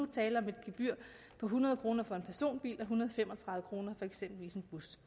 tale om et gebyr på hundrede kroner for en personbil og en hundrede og fem og tredive kroner for eksempelvis en bus